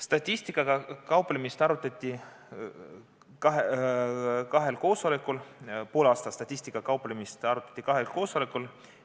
Statistikaga kauplemise arvestust poole aasta kaupa arutati kahel koosolekul.